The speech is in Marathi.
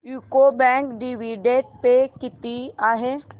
यूको बँक डिविडंड पे किती आहे